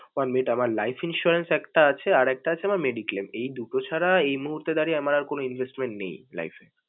One minute আমার life insurance একটা আছে, আর একটা আছে mediclaim এই দুটো ছাড়া এই মূহুর্তে দাড়িয়ে আমার আর কোনও investment নেই life এ।